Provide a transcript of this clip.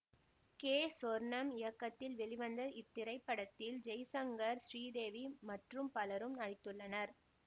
K Sornam இயக்கத்தில் வெளிவந்த இத்திரைப்படத்தில் ஜெய்சங்கர் ஸ்ரீதேவி மற்றும் பலரும் நடித்துள்ளனர்